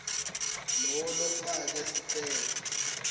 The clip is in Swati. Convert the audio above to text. lowo lofake sicelo